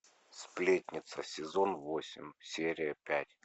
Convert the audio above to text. сплетница сезон восемь серия пять